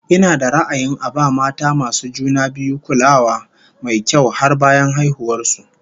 Ina da ra'ayin a ba mata masu juna biyu kulawa mai kyau har bayan haihuwar su